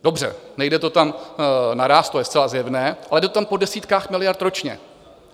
Dobře, nejde to tam naráz, to je zcela zjevné, ale jde to tam po desítkách miliard ročně.